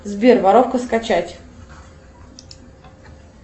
сбер воровка скачать